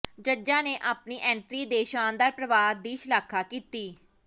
ਜੱਜਾਂ ਨੇ ਆਪਣੀ ਐਂਟਰੀ ਦੇ ਸ਼ਾਨਦਾਰ ਪ੍ਰਵਾਹ ਦੀ ਸ਼ਲਾਘਾ ਕੀਤੀ